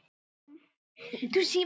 Nafnið getur einnig átt við